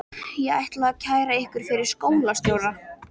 Ég ætla að kæra ykkur fyrir skólastjóra.